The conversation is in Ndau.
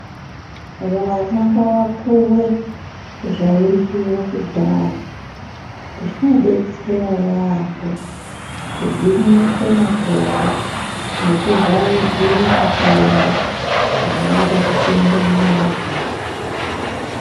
Vana ngavapuwe zvairywiwa kudhaya zvinodetsera yambo kugwinyise makodo nekuvharidzire matenda angada kupinde munyama dzawo.